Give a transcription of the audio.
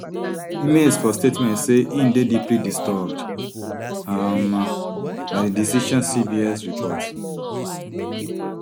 himes for statement say im dey deeply disturbed um by di decision cbs report